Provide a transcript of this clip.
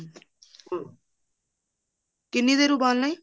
ਕਿੰਨੀ ਦੇਰ ਉਬਾਲ ਨਾ ਹੈ